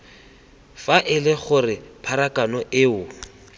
fa ele gore pharakano eo